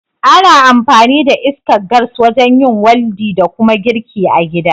Ana amfani da iskar gas wajen yin waldi da kuma girki a gida